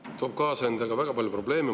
See toob kaasa endaga väga palju probleeme.